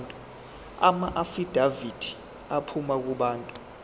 amaafidavithi aphuma kubantu